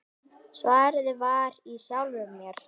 Svarið var í sjálfum mér.